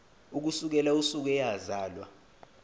ukusukela usuku eyazalwa